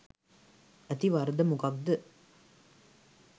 ඇති වරද මොකක්ද?